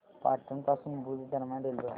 पाटण पासून भुज दरम्यान रेल्वेगाडी